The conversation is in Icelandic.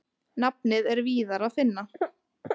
Nafnið er víðar að finna.